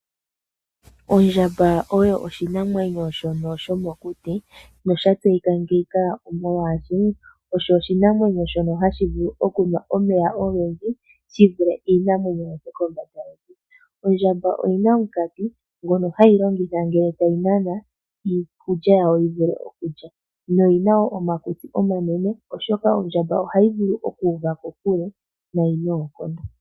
Ondjamba oyo oshinamwenyo shono shomokuti nasha tseyika ngeyika molwaashi, osho oshinamwenyo shono hashi vulu okunwa omeya ogendji shi vule iinamwenyo yokombanda yevi. Ondjamba oyi na omunkati ngono hayi longitha ngele tayi nana iikulya yawo yimwe okulya, noyi na omakutsi omanene oshoka ondjamba ohayi vulu okuuva kokule noonkondo.